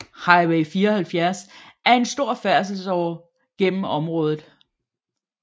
Highway 74 er en stor færdselsåre gennem området